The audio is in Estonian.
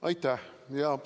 Aitäh!